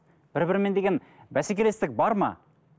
бір бірімен деген бәсекелестік бар ма